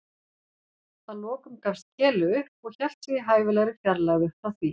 Að lokum gafst Keli upp og hélt sig í hæfilegri fjarlægð upp frá því.